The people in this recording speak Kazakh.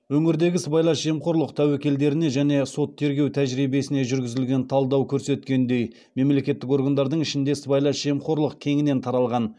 өңірдегі сыбайлас жемқорлық тәуекелдеріне және сот тергеу тәжірибесіне жүргізілген талдау көрсеткендей мемлекеттік органдардың ішінде сыбайлас жемқорлық кеңінен таралған